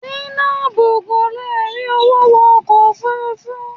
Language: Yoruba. Zainab kò lè rí owó wọ ọkọ̀ òfurufú.